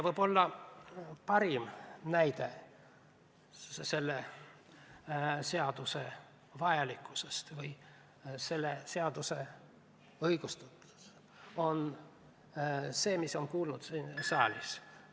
Võib-olla parim tõestus selle seaduse vajalikkusest on jutt, mis on kuuldud siin saalis.